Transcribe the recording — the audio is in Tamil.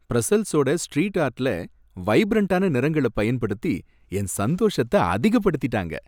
பிரஸல்ஸோட ஸ்ட்ரீட் ஆர்ட்ல வைப்ரன்ட்டான நிறங்கள பயன்படுத்தி என்ன சந்தோஷத்த அதிகப்படுத்தீட்டாங்க.